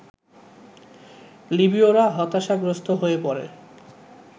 লিবীয়রা হতাশাগ্রস্ত হয়ে পড়ে